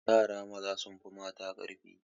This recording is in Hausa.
Yara maza sun fi mata ƙarfi